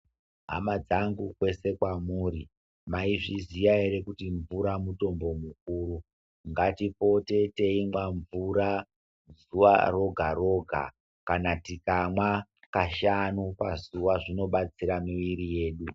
Hama dzangu kwese kwamuri, maizviziya here kuti mvura mutombo mukuru. Ngatipote teimwa mvura zuwa roga roga kana tikamwa kashanu pazuva zvinobatsira mwiri yedu.